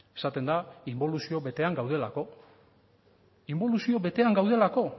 esaten da inboluzio betean gaudelako inbolizio betean gaudelako